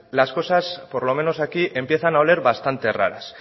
las cosas por lo menos aquí empiezan a oler bastante raras